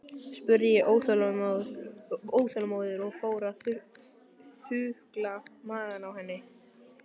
spurði ég óþolinmóður og fór að þukla magann á henni.